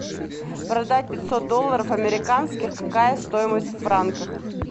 продать пятьсот долларов американских какая стоимость в франках